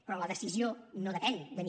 però la decisió no depèn de mi